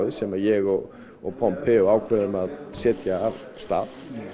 sem ég og og ákváðum að setja af stað